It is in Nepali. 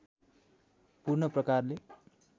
पूर्ण प्रकारले